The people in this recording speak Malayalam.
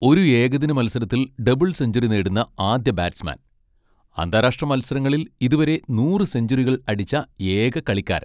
ഒരു ഏകദിന മത്സരത്തിൽ ഡബിൾ സെഞ്ച്വറി നേടുന്ന ആദ്യ ബാറ്റ്സ്മാൻ, അന്താരാഷ്ട്ര മത്സരങ്ങളിൽ ഇതുവരെ നൂറ് സെഞ്ചുറികൾ അടിച്ച ഏക കളിക്കാരൻ.